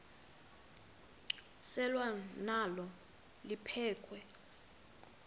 selwa nalo liphekhwe